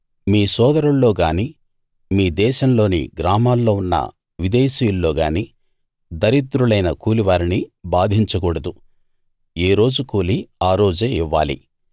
మీ సోదరుల్లో గానీ మీ దేశంలోని గ్రామాల్లో ఉన్న విదేశీయుల్లోగానీ దరిద్రులైన కూలివారిని బాధించకూడదు ఏ రోజు కూలి ఆ రోజే ఇవ్వాలి